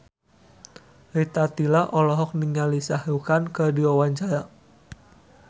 Rita Tila olohok ningali Shah Rukh Khan keur diwawancara